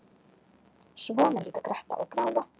Svona líka gretta og gráa.